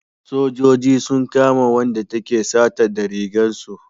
sojoji sun kama wanda take sata da rigar su